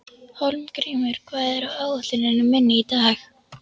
Hólmgrímur, hvað er á áætluninni minni í dag?